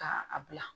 Ka a bila